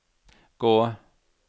gå